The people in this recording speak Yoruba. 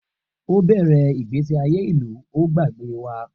O bẹrẹ igbesi aye ilu o gbagbe wa.